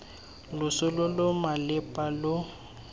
loso lo lo malepa lo